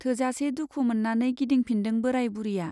थोजासे दुखु मोन्नानै गिदिंफिनदों बोराय बुरिया।